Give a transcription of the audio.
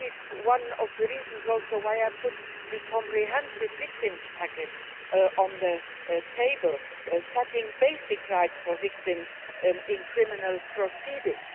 That is also one of the reasons why I put the comprehensive victims package on the table, setting basic rights for victims in criminal proceedings.